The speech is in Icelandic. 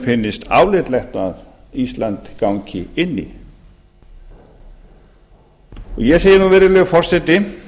finnist álitlegt að ísland gangi inn í ég segi nú virðulegi forseti